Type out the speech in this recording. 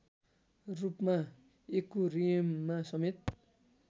रूपमा एक्युरियममा समेत